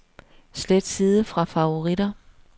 Slet side fra favoritter.